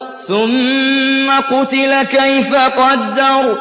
ثُمَّ قُتِلَ كَيْفَ قَدَّرَ